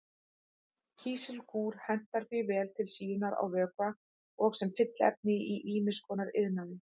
Kísilgúr hentar því vel til síunar á vökva og sem fylliefni í ýmis konar iðnaði.